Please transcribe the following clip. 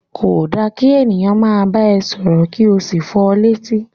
Ko da ki ènìyàn máa bá ẹ sọ̀rọ̀ ki o sí fọ létí.